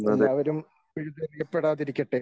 എല്ലാവരും പിഴുതെറിയപ്പെടാതിരിക്കട്ടെ.